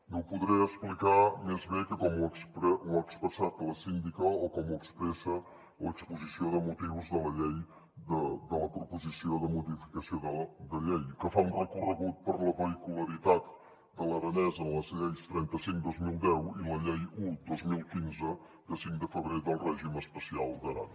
no ho podré explicar més bé que com ho ha expressat la síndica o com ho expressa l’exposició de motius de la proposició de modificació de llei que fa un recorregut per la vehicularitat de l’aranès en la llei trenta cinc dos mil deu i la llei un dos mil quinze de cinc de febrer del règim especial d’aran